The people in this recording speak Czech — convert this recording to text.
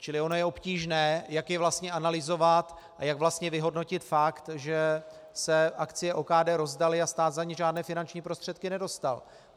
Čili ono je obtížné, jak je vlastně analyzovat a jak vlastně vyhodnotit fakt, že se akcie OKD rozdaly a stát za ně žádné finanční prostředky nedostal.